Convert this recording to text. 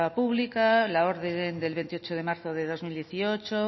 pública la orden del veintiocho de marzo de dos mil dieciocho